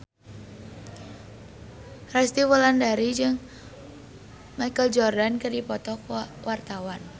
Resty Wulandari jeung Michael Jordan keur dipoto ku wartawan